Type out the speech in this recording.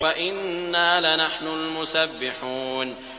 وَإِنَّا لَنَحْنُ الْمُسَبِّحُونَ